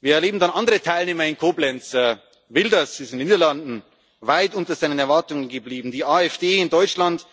machen. Dann zu den anderen Teilnehmern in Koblenz Wilders ist in den Niederlanden weit unter seinen Erwartungen geblieben, die AfD in Deutschland